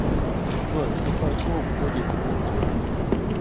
джой в состав чего входит утренница